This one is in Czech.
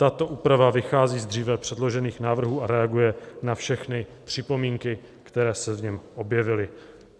Tato úprava vychází z dříve předložených návrhů a reaguje na všechny připomínky, které se v něm objevily.